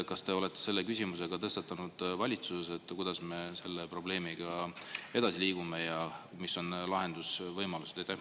Kas te olete selle küsimuse tõstatanud ka valitsuses, kuidas me selle probleemiga edasi liigume ja mis on lahendusvõimalused?